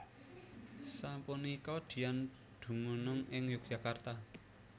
Sapunika Dian dumunung ing Yogyakarta